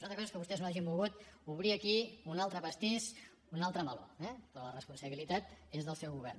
una altra cosa és que vostès no hagin volgut obrir aquí un altre pastís un altre meló però la responsabilitat és del seu govern